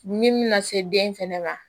Min bɛna se den fɛnɛ ma